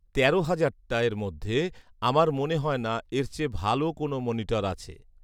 তেরো হাজার টা এর মধ্যে আমার মনে হয়না এর চেয়ে ভালো কোনো মনিটর আছে